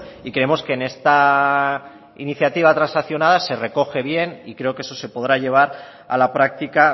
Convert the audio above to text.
y creemos que en esta iniciativa transaccional se recoge bien y creo que eso se podrá llevar a la práctica